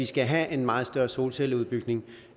skal have en meget større solcelleudbygning